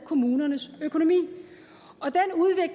kommunernes økonomi